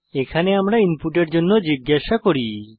এখানে আমরা ইনপুটের জন্য জিজ্ঞাসা করি